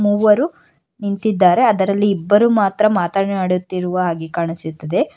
ಮೂವರು ನಿಂತಿದ್ದಾರೆ ಅದರಲ್ಲಿ ಇಬ್ಬರು ಮಾತ್ರ ಮಾತನಾಡುತ್ತಿರುವ ಹಾಗೆ ಕಾಣಿಸುತ್ತಿದೆ.